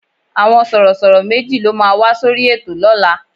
Àwọn Sọ̀rọ̀ṣọ̀rọ̀ méjì ló máa wá sórí ètò lọ́la